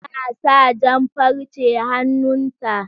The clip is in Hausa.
Tana sa jan farce hannun ta